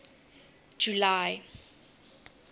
july